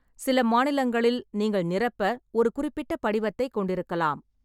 சில மாநிலங்களில் நீங்கள் நிரப்ப ஒரு குறிப்பிட்ட படிவத்தைக் கொண்டிருக்கலாம்.